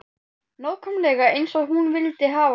Nákvæmlega eins og hún vildi hafa það.